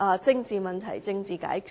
政治問題，政治解決。